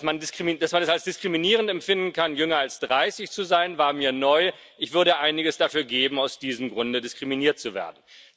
Dass man es als diskriminierend empfinden kann, jünger als 30 zu sein, war mir neu. Ich würde einiges dafür geben, aus diesem Grunde diskriminiert zu werden.